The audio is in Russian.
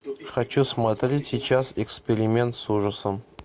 хочу смотреть сейчас эксперимент с ужасом